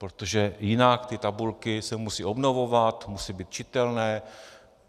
Protože jinak ty tabulky se musí obnovovat, musí být čitelné.